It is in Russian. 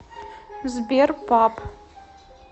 сбер пап